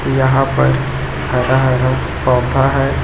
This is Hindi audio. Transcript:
यहां पर हरा हरा पौधा हैं।